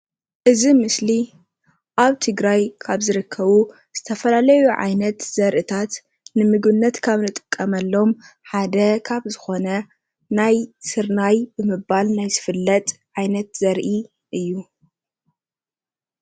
እዚ ምስሊ ኣብ ትግራይ ካብ ዝርከቡ ዝተፈላለዩ ዓይነት ዘርእታት ንምግብነት ካብ እንጥቀመሎም ሓደ ካብ ዝኾነ ናይ ስርናይ ብምባል ናይ ዝፍለጥ ዓይነት ዘርኢ እዩ፡፡